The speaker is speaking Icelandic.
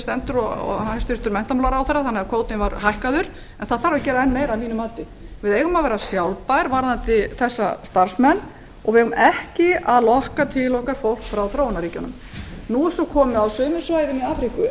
stendur og hæstvirtur menntamálaráðherra og hækkuðum kvótann en betur má ef duga skal við þurfum að vera sjálfbær í þessum efnum og eigum ekki að lokka til okkar fólk frá þróunarríkjunum á sumum svæðum í afríku er